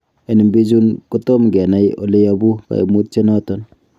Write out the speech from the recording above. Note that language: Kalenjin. En bichuton, kotom kenai oleyobu koimutioniton.